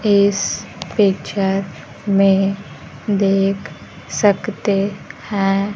इस पिक्चर में देख सकते है।